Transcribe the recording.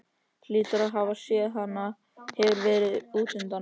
Hlýtur að hafa séð að hún hefur verið útundan.